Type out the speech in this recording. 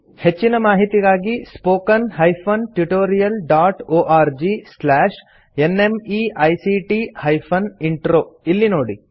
ಹೆಚ್ಚಿನ ಮಾಹಿತಿಗಾಗಿ spoken hyphen tutorial dot org slash NMEICT hyphen intro ಇಲ್ಲಿ ನೋಡಿ